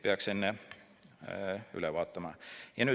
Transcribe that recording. Peaks enne üle vaatama.